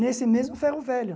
Nesse mesmo ferro velho.